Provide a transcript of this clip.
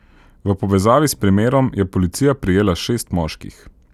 V povezavi s primerom je policija prijela šest moških.